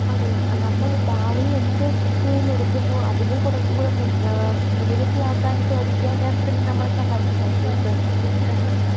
അതെ നമ്മൾ ഭാവിയിൽ എന്ത് തൊഴിലെടുക്കുന്നു അതിനെ കുറച്ചുകൂടെ മുൻ ഏഹ് മികച്ചതാക്കാൻ വിദ്യാഭ്യാസത്തിന് നമ്മളെ സഹായിക്കും. പക്ഷേ ഇപ്പോഴത്തെ വിദ്യാഭ്യാസം